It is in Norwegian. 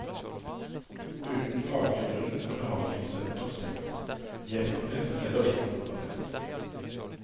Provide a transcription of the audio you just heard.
Uten faglig grunn er behandlingsenheter stengt, nedgradert eller ikke oppgradert.